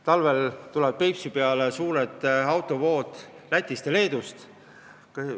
Talvel tulevad Peipsi peale suured autovood Lätist ja Leedust.